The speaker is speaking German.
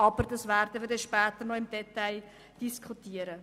Wir werden das später noch im Detail diskutieren.